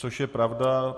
Což je pravda.